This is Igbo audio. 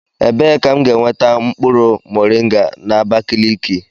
Ebee ka m ga-enweta mkpụrụ moringa na Abakaliki?